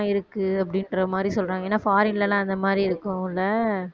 இருக்கு அப்படிங்கிற மாதிரி சொல்றாங்க ஏன்னா foreign லலாம் அந்த மாதிரி இருக்கும்ல